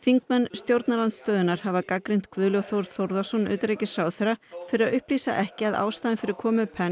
stjórnarandstöðuþingmenn hafa gagnrýnt Guðlaug Þór Þórðarson utanríkisráðherra fyrir að upplýsa ekki að ástæðan fyrir komu